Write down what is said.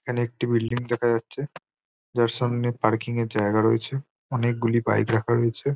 এখানে একটি বিল্ডিং দেখা যাচ্ছে যার সামনে পার্কিং এর জায়গা রয়েছে অনেকগুলি বাইক রাখা রয়েছে।